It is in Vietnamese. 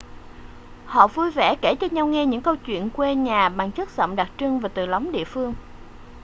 họ vui vẻ kể cho nhau nghe những câu chuyện quê nhà bằng chất giọng đặc trưng và từ lóng địa phương